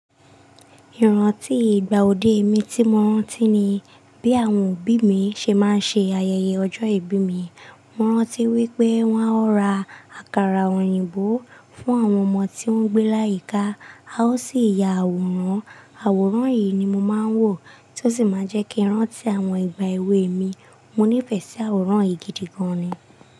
Ìrántí ìgbà òde mi tí mo rántí ni bí àwọn òbí mi ṣe máa ń ṣe ayẹyẹ ọjọ́ ìbí mi. Mo rántí wípé wón ó ra àkàrà òyìnbó fún àwọn ọmọ tí wọ́n gbé láyíkà, a ó sì ya àwòrán, àwòrán yìí ni mo máa ń wò tí ó sì máa jẹ́ kí n rántí àwọn ìgbà ewe mi. Mo nífẹ̀ẹ́ sí àwòrán yìí gidi gan ni.